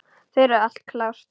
Það er allt klárt.